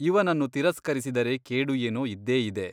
ಇವನನ್ನು ತಿರಸ್ಕರಿಸಿದರೆ ಕೇಡು ಏನೋ ಇದ್ದೇ ಇದೆ.